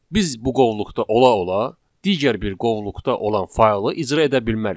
Biz bu qovluqda ola-ola digər bir qovluqda olan faylı icra edə bilmərik.